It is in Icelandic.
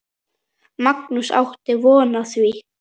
Magnús: Áttu von á því?